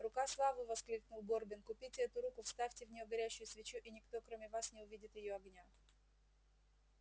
рука славы воскликнул горбин купите эту руку вставьте в нее горящую свечу и никто кроме вас не увидит её огня